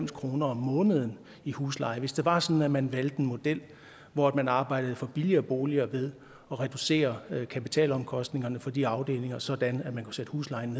kroner om måneden i husleje hvis det altså var sådan at man valgte en model hvor man arbejdede for billigere boliger ved at reducere kapitalomkostningerne for de afdelinger sådan at man kunne sætte huslejen